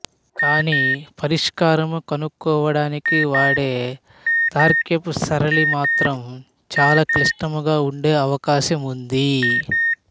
కానీ పరిష్కారము కనుక్కోవడానికి వాడే తర్కపు సరళి మాత్రము చాలా క్లిష్టముగా ఉండే అవకాశం ఉంది